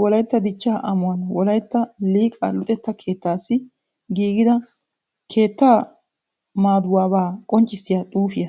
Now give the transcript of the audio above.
wolaytta dichchaa amuwan wolaytta liqaa luxetta keettaassi giigida keettaa maaduwabaa qonccissiya xuufiya.